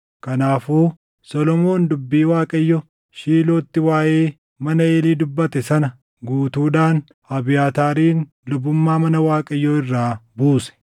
Kanaafuu Solomoon dubbii Waaqayyo Shiilootti waaʼee mana Eelii dubbate sana guutuudhaan Abiyaataarin lubummaa mana Waaqayyoo irraa buuse.